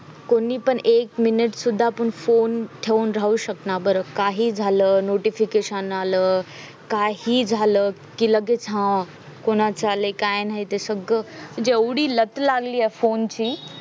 कोणी पण एक minute पण सुद्धा आपुन phone ठेऊन राहू शकणा बर काही जाल notification आल काही जाल कि लगेच हा अं कोणाचे आलाय काय नायते सगळं म्हणजे एव्हडी लत लागलीये phone ची